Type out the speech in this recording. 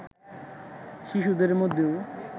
শিশুদের মধ্যেও